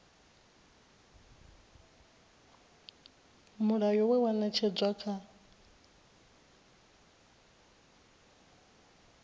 mulayo we wa ṅetshedzwa kha